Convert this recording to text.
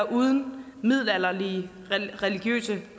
uden middelalderlige religiøse